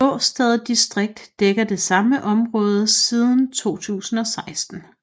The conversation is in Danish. Årstad distrikt dækker det samme område siden 2016